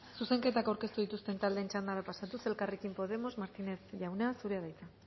zuzenketa aurkeztu dituzten taldeen txandara pasatuz elkarrekin podemos martínez jauna zurea da hitza